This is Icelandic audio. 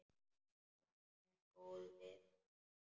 Hún er góð við mig.